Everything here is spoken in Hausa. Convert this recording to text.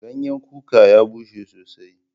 Ganyan kuka ya bushe sosai.